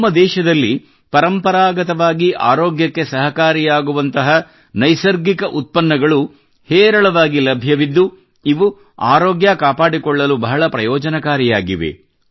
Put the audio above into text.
ನಮ್ಮ ದೇಶದಲ್ಲಿ ಪರಂಪರಾಗತವಾಗಿ ಆರೋಗ್ಯಕ್ಕೆ ಸಹಕಾರಿಯಾಗುವಂತಹ ನೈಸರ್ಗಿಕ ಉತ್ಪನ್ನಗಳು ಹೇರಳವಾಗಿ ಲಭ್ಯವಿದ್ದು ಇವು ಅರೋಗ್ಯ ಕಾಪಾಡಿಕೊಳ್ಳಲು ಬಹಳ ಪ್ರಯೋಜನಕಾರಿಯಾಗಿದೆ